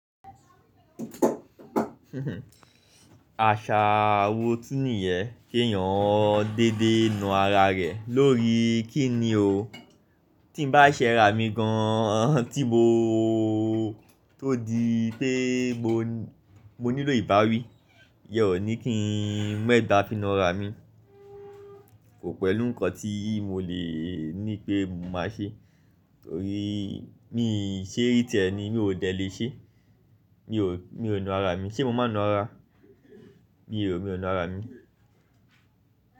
Àṣà wo tun nìyẹn kèèyàn dédé na ara rẹ̀ lórií kí ni o? Tí n bá ṣẹ raa mi gan-an tí moo tó di pé mo nílò ìbáwí, ìyẹ́n ò ní kí n megba fi náraa mi. Kò pẹ̀lú nǹkan tí mo le ní pé mo máa ṣe torí míì ṣe rí tiẹ́ ni mí ò dẹ̀ le ṣee. Mi ò na araa mi. Ṣé mo máa na ara? Mi ò na ara mi.